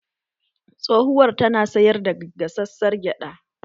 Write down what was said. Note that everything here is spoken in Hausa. Tsohuwar tana sayar da gasassar gyada